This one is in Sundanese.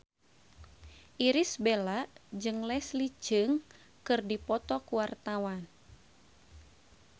Irish Bella jeung Leslie Cheung keur dipoto ku wartawan